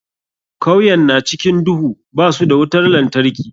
Kauyen na cikin duhu, ba su da wutar lantarki.